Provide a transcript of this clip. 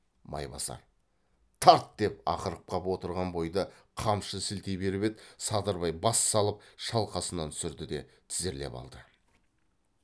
майбасар тарт деп ақырып қап отырған бойда қамшы сілтей беріп еді садырбай бас салып шалқасынан түсірді де тізерлеп алды